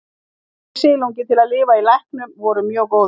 Aðstæður fyrir silunginn til að lifa í læknum voru mjög góðar.